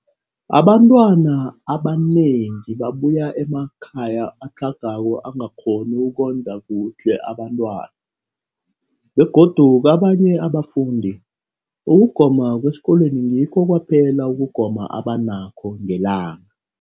Abantwana abanengi babuya emakhaya atlhagako angakghoni ukondla kuhle abentwana, begodu kabanye abafundi, ukugoma kwesikolweni ngikho kwaphela ukugoma abanakho ngelanga.